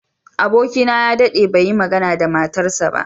Abokina ya daɗe bai yi magana da matarsa ​​ba.